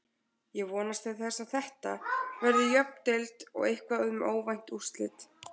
Ég vonast til þess að Þetta verði jöfn deild og eitthvað um óvænt úrslit.